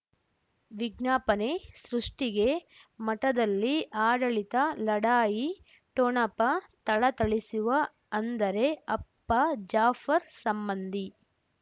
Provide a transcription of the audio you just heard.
ವಿಜ್ಞಾಪನೆ ಸೃಷ್ಟಿಗೆ ಮಠದಲ್ಲಿ ಆಡಳಿತ ಲಢಾಯಿ ಠೊಣಪ ಥಳಥಳಿಸುವ ಅಂದರೆ ಅಪ್ಪ ಜಾಫರ್ ಸಂಬಂಧಿ